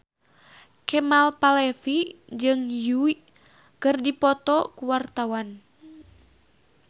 Kemal Palevi jeung Yui keur dipoto ku wartawan